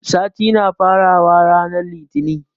Sati na fara wa ranar litinin